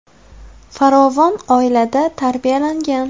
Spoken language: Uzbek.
Farovon oilada tarbiyalangan.